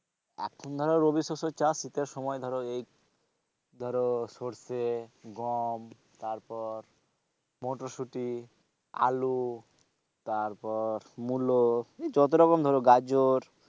এখন ধরো রবিশস্যের চাষ, শীতের সময় ধরো এই ধরো সরষে, গম তারপর মটরশুটি, আলু তারপর মূলো যতরকম ধরো গাজর,